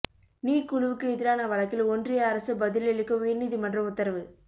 NEET குழுவுக்கு எதிரான வழக்கில் ஒன்றிய அரசு பதில் அளிக்க உயர்நீதிமன்றம் உத்தரவு